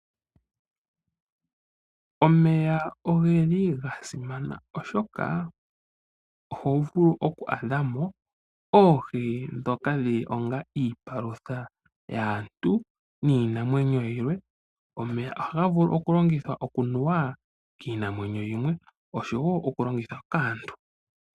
Omeya oga simana, oshoka oho vulu oku adha mo oohi ndhoka dhi li onga iipalutha yaantu niinamwenyo yilwe. Omeya ohaga vulu okulongithwa okunuwa kiinamwenyo yimwe oshowo okulongithwa kaantu.